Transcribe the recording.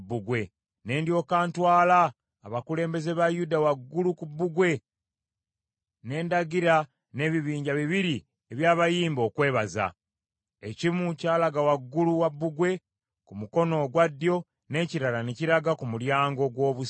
Ne ndyoka ntwala abakulembeze ba Yuda waggulu ku bbugwe, ne ndagira n’ebibinja bibiri eby’abayimbi okwebaza. Ekimu kyalaga waggulu wa bbugwe ku mukono ogwa ddyo, n’ekirala ne kiraga ku Mulyango gw’Obusa.